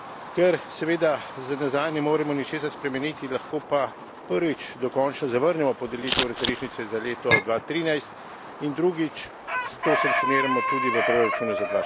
Ker seveda za nazaj ne moremo ničesar spremeniti, lahko pa, prvič, dokončno zavrnemo podelitev razrešnice za leto 2013 in, drugič, to sankcioniramo tudi v proračunu za